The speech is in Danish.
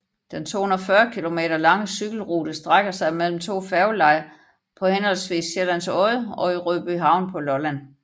Den 240 km lange cykelrute strækker sig mellem to færgelejer på henholdsvis Sjællands Odde og i Rødbyhavn på Lolland